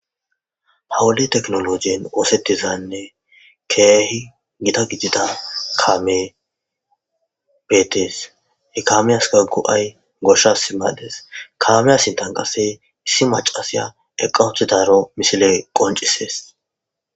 Ha wode tekinolojen osetizanne Keehi Gita gidida kaamey beetes, he kamiyaska Go'ay goshas mades, kama sintan qase issi macashiya eqa utidaro misiley qoncisesi.